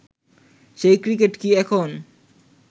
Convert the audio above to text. সেই ক্রিকেট কি এখন